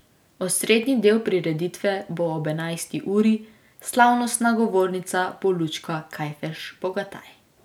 Osrednji del prireditve bo ob enajsti uri, slavnostna govornica bo Lučka Kajfež Bogataj.